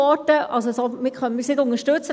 Somit können wir diesen nicht unterstützen.